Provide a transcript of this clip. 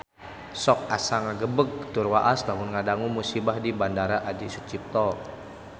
Sok asa ngagebeg tur waas lamun ngadangu musibah di Bandara Adi Sucipto